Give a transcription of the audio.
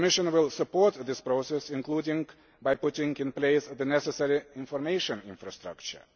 The Commission will support the process, including by putting in place the necessary information infrastructure.